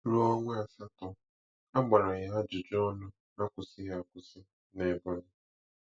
Ruo ọnwa asatọ, a gbara ya ajụjụ ọnụ akwụsịghị akwụsị n'Ebonyi.